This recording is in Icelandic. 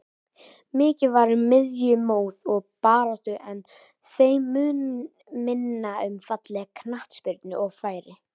Mikið var um miðjumoð og baráttu en þeim mun minna um fallega knattspyrnu og færi.